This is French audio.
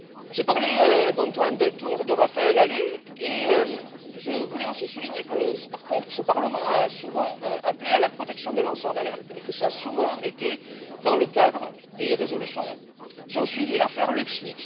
J'ai parlé d'Antoine Deltour et de Raphaël Halet, et je voulais aussi souligner que, par contre, ce Parlement a souvent appelé à la protection des lanceurs d'alerte et que cela a souvent été dans le cadre des résolutions qui ont suivi l'affaire LuxLeaks.